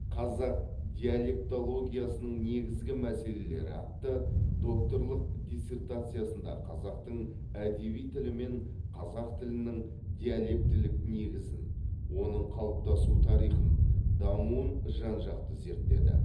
қазақ диалектологиясының негізгі мәселелері атты докторлық диссертациясында қазақтың әдеби тілі мен қазақ тілінің диалектілік негізін оның қалыптасу тарихын дамуын жан жақты зерттеді